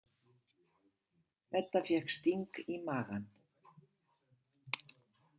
Edda fékk sting í magann.